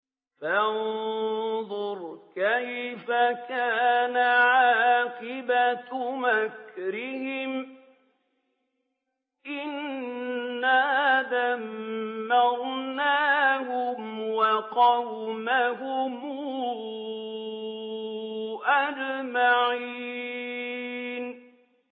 فَانظُرْ كَيْفَ كَانَ عَاقِبَةُ مَكْرِهِمْ أَنَّا دَمَّرْنَاهُمْ وَقَوْمَهُمْ أَجْمَعِينَ